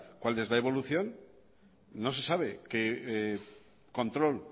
cuál es la evolución no se sabe qué control